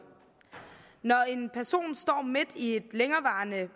når en person står midt i at